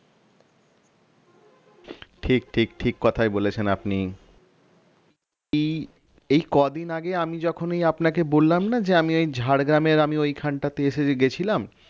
ঠিক ঠিক ঠিক কথাই বলেছেন আপনি এই কদিন আগে আমি যখনই আপনাকে বললাম না যে আমি এই ঝারগ্রাম এর আমি ওইখানটাতে গেছিলাম